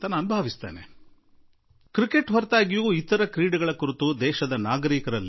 cricket ಹೊರತುಪಡಿಸಿ ಕೂಡಾ ಭಾರತದ ನಾಗರಿಕರಲ್ಲಿ ಇತರ ಕ್ರೀಡೆಗಳ ಬಗ್ಗೆ ಎಷ್ಟು ಪ್ರೀತಿ ಇದೆ